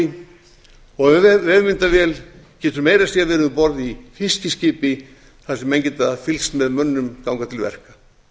fjárbúi vefmyndavél getur meira að segja verið um borð í fiskiskipi þar sem menn geta fylgst með mönnum ganga til verka